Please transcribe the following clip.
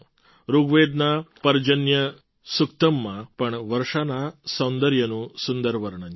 ઋગ્વેદના પર્જન્ય સુક્તમમાં પણ વર્ષાના સૌંદર્યનું સુંદર વર્ણન છે